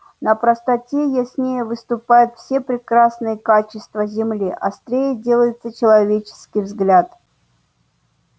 на простоте яснее выступают все прекрасные качества земли острее делается человеческий взгляд